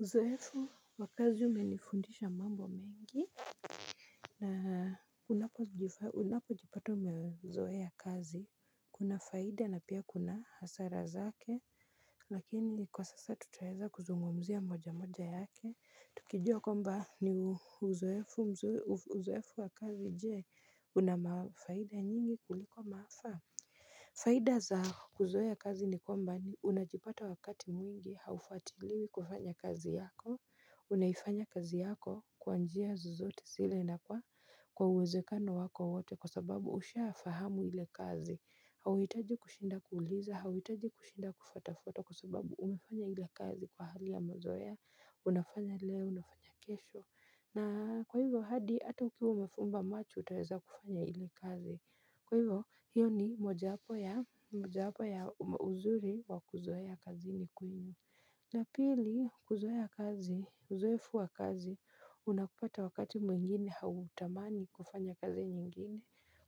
Uzoefu wa kazi umenifundisha mambo mengi na unapojipata umezoea kazi Kuna faida na pia kuna hasara zake Lakini kwa sasa tutaeza kuzungumzia moja moja yake Tukijua kwamba ni uzoefu wa kazi je una mafaida nyingi kuliko maafa faida za kuzoea kazi ni kwamba unajipata wakati mwingi haufatiliwi kufanya kazi yako unaifanya kazi yako kwa njia zozote zile na kwa uwezekano wako wote kwa sababu ushafahamu ile kazi. Hauhitaji kushinda kuuliza, hauhitaji kushinda kufatwafatwa kwa sababu umefanya ile kazi kwa hali ya mazoea. Unafanya leo, unafanya kesho. Na kwa hivyo hadi ata ukiwa umefumba macho utaeza kufanya ile kazi. Kwa hivyo hiyo ni mojawapo ya uzuri wa kuzoea kazini kwenyu. Na pili kuzoea kazi, uzoefu wa kazi, unakupata wakati mwingine hautamani kufanya kazi nyingine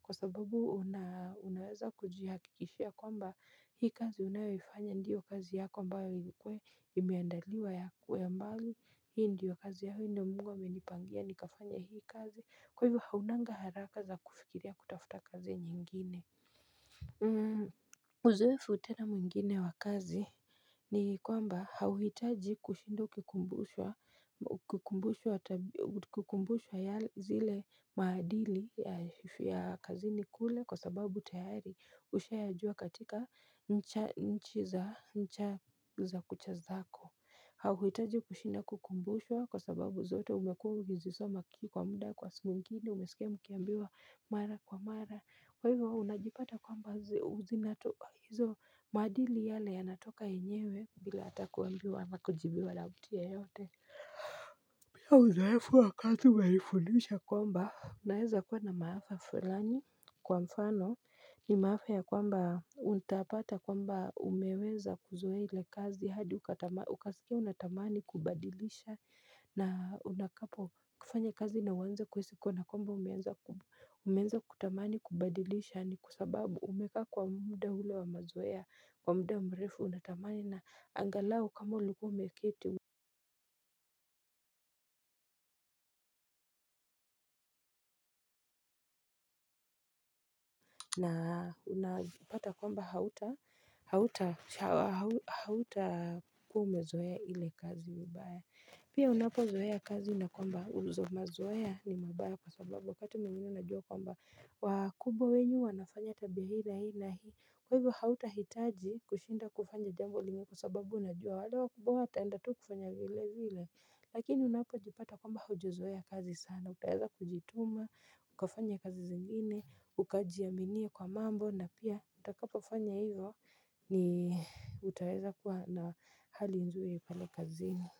Kwa sababu unaweza kujihakikishia kwamba hii kazi unayofanya ndiyo kazi yako ambayo ilikuwe imeandaliwa yako ya mbali Hii ndiyo kazi yahu ndio mungu amenipangia nikafanye hii kazi, kwa hivo haunanga haraka za kufikiria kutafuta kazi nyingine Uzoefu tena mwingine wa kazi ni kwamba hauhitaji kushinda kukumbushwa ya zile maadili ya kazini kule kwa sababu tayari ushayajua katika nchi za kucha zako hauhitaji kushinda kukumbushwa kwa sababu zote umekuwa ukizisoma kii kwa muda kwa simu ingini umesikia mkiambiwa mara kwa mara kwa hivyo unajipata kwamba u zinatoka hizo maadili yale yanatoka yenyewe bila ata kuambiwa na kujibiwa na mtu yeyote Bia uzoefu wakati umenifundisha kwamba Unaweza kuwa na maafa fulani kwa mfano ni maafa ya kwamba utapata kwamba umeweza kuzoea ile kazi hadi ukasikia unatamani kubadilisha na utakapo kufanya kazi na uanze kuhisi kana kwamba umeweza kutamani kubadilisha ni kwa sababu umekaa kwa muda ule wa mazoea kwa muda mrefu unatamani na angalau kama ulikuwa umeketi na unapata kwamba hauta hauta hauta hautakuwa umezoea ile kazi vibaya Pia unapozoea kazi na kwamba uzo mazoea ni mabaya kwa sababu wakati mwengine unajua kwamba wakubwa wenyu wanafanya tabia hii na hii na hii Kwa hivyo hautahitaji kushinda kufanya jambo lingine kwa sababu unajua wale wakubwa wataenda tu kufanya vile vile Lakini unapojipata kwamba haujazoea kazi sana na utaeza kujituma, ukafanya kazi zingine, ukajiaminie kwa mambo na pia utakapofanya hivyo ni utaeza kuwa na hali nzuri pale kazini.